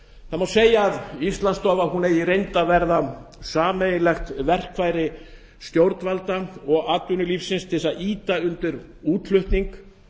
það má segja að íslandsstofa eigi í reynd að verða sameiginlegt verkfæri stjórnvalda og atvinnulífsins til að ýta undir útflutning